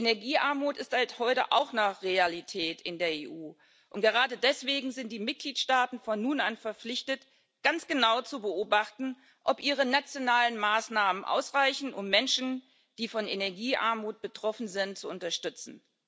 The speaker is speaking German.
Energiearmut ist heute auch eine Realität in der EU, und gerade deswegen sind die Mitgliedstaaten von nun an verpflichtet, ganz genau zu beobachten, ob ihre nationalen Maßnahmen ausreichen, um Menschen, die von Energiearmut betroffen sind, zu unterstützen.